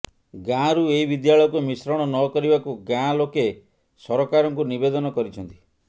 ଗାଁରୁ ଏହି ବିଦ୍ୟାଳୟକୁ ମିଶ୍ରଣ ନ କରିବାକୁ ଗାଁ ଲୋକେ ସରକାରଙ୍କୁ ନିବେଦନ କରିଛନ୍ତି